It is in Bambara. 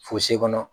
kɔnɔ